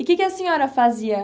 E o que que a senhora fazia?